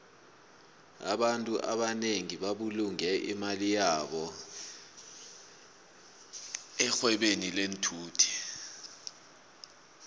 abantfu abanengi babulunge imali yabo erhwebeni lenthuthi